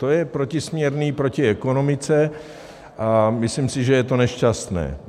To je protisměrné proti ekonomice a myslím si, že je to nešťastné.